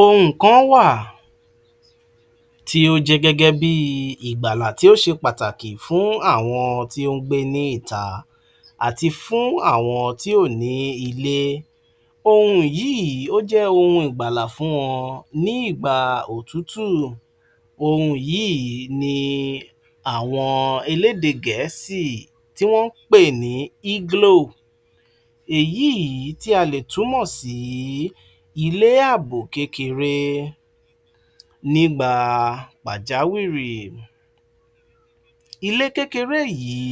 Ohun kan wà tí ó jẹ́ gẹ́gẹ́ bí i ìgbàlà tí ó ṣe pàtàkì fún àwọn tí ó ń gbé ní ìta àti fún àwọn tí ò ní ilé, ohun yìí ó jẹ́ ohun ìgbàlà fún wọn ní ìgbà òtútù, ohun yìí ni àwọn eléde Gẹ̀ẹ́sì tí wọ́n ń pè ní Igloo [CS[, èyí yìí tí a lè túmọ̀ sí ilé àbò kékeré nígbà pàjáwìrì. Ilé kékeré yìí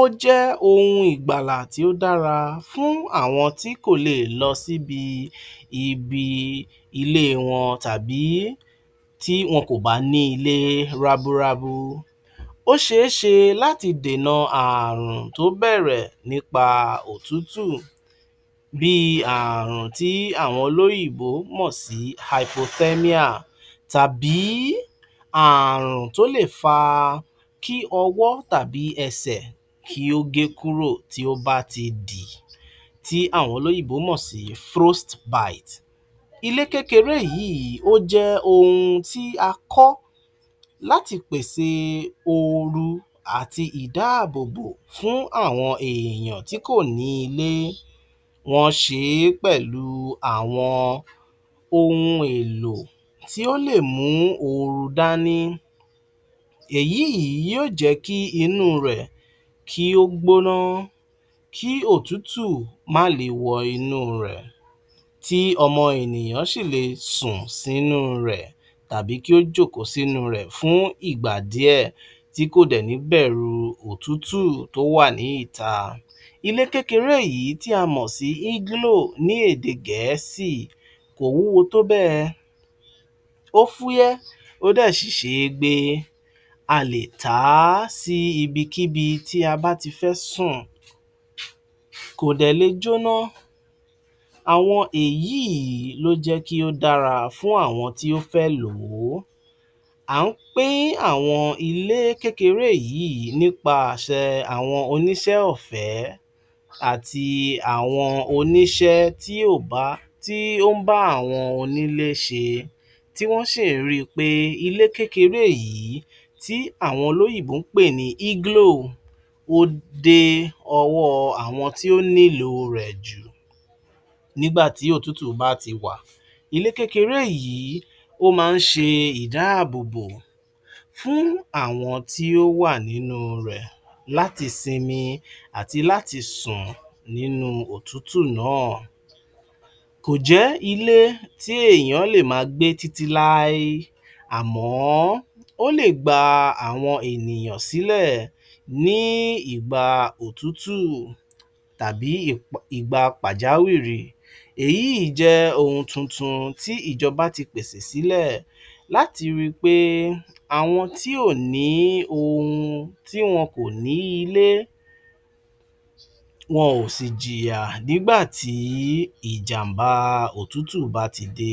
ó jẹ́ ohun ìgbàlà tí ó dára fún àwọn tí kò lè lọ síbi ibi ilé wọn tàbí tí wọn kò bá ní ilé rábúrábú. Ó ṣe é ṣe láti dènà ààrùn tó bẹ̀rẹ̀ nípa òtútù, bí i ààrùn tí aẁọn olóyìnbó mọ̀ sí Hypothermia tàbí ààrùn tó lè fa kí ọwọ́ t̀abí ẹsẹ̀ kí ó gé kúrò tí ó bá ti dì, tí àwọn olóyìnbó mọ̀ sí frostbite. Ilé kékeré yìí ó jẹ́ ohun tí a kọ́ láti pèsè ooru àti ìdábọ̀bọ̀ fún àwọn èèyàn tí kò ní ilé, wọ́n ṣe é pẹ̀lú àwọn ohu èlò tí ó lè mú ooru dání, èyí yìí yóò jẹ́ kí inú rẹ̀ kí ó gbóná, kí òtútù má le wọ inú rẹ̀, tí ọmọ ènìyàn sì le sùn sínú rẹ̀, tàbí kí ó jókòó sínú rẹ̀ fún ìgbà díẹ̀, tí kò dẹ̀ ní bẹ̀ru òtútù tó wà ní ìta. Ilé kékeré yìí tí a mọ̀ sí Igloo ní èdè Gẹ̀ẹ́sì kò wúwo tó bẹ́ẹ̀, ó fúyẹ́, ó dẹ̀ sì ṣe é gbé, a lè ta á sí ibi kíbi tí a bá ti fẹ́ sùn, kò dẹ̀ lè jóná, àwọn èyí yìí ló jẹ́ kí ó dára fún àwọn tí ó fẹ́ lò ó. À ń pín àwọn ilé kékeré yìí nípa àṣẹ àwọn oníṣẹ́ ọ̀fẹ́ àti àwọn oníṣẹ́ tí ó bà, tí ó ń bá àwọn onílé ṣe, tí wọ́n sì rí i pé ilé kékeré yìí tí àwọn olóyìnbó ń pè ní Igloo ó dé ọwọ́ àwọn tí ó nílò rẹ̀ jù. Nígbà tí òtútù bá ti wà. Ilé kékeré yìí, ó máa ń ṣe ìdáàbòbò fún àwọn tí ó wà nínú rẹ̀ láti sinmi àti láti sùn nínú òtútù náà, kò jẹ́ ilé tí èèyàn lè máa gbé títí láé, àmọ́ ó lè gba àwọn ènìyàn sílẹ̀ ní ìgbà òtútù tàbí um ìgbà pàjáwìrì, èyí jẹ́ ohun tuntun tí ìjọba ti pèsè sílẹ̀ láti ri pé àwọn tí ò ní ohun, tí wọn kò ní ilé wọn ò sì jìyà nígbà tí ìjàm̀bá òtútù bá ti dé.